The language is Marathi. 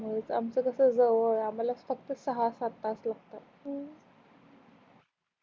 आमच कस जवळ अं आम्हाला फक्त सहा सात तास लागत